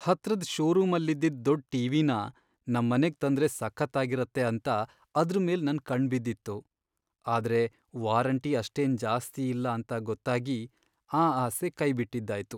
ಹತ್ರದ್ ಷೋರೂಮಲ್ಲಿದ್ದಿದ್ ದೊಡ್ಡ್ ಟಿ.ವಿ.ನ ನಮ್ಮನೆಗ್ ತಂದ್ರೆ ಸಖತ್ತಾಗಿರತ್ತೆ ಅಂತ ಅದ್ರ್ ಮೇಲ್ ನನ್ ಕಣ್ಣ್ ಬಿದ್ದಿತ್ತು, ಆದ್ರೆ ವಾರಂಟಿ ಅಷ್ಟೇನ್ ಜಾಸ್ತಿ ಇಲ್ಲ ಅಂತ ಗೊತ್ತಾಗಿ ಆ ಆಸೆ ಕೈಬಿಟ್ಟಿದ್ದಾಯ್ತು.